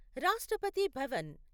Rashtrapati Bhavan